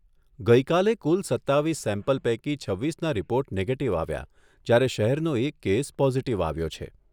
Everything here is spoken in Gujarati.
ગઈકાલે કુલ સત્તાવીસ સેમ્પલ પૈકી છવ્વીસના રિપોર્ટ નેગેટિવ આવ્યા જ્યારે શહેરનો એક કેસ પોઝિટિવ આવ્યો છે.